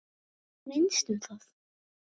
Þú veist minnst um það.